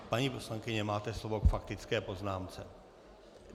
Paní poslankyně, máte slovo k faktické poznámce.